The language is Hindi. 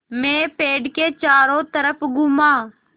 मैं पेड़ के चारों तरफ़ घूमा